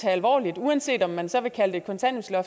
tage alvorligt uanset om man så vil kalde